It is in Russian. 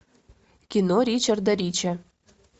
кино ричарда ричи